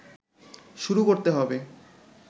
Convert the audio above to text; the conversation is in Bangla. শুরু করতে হবে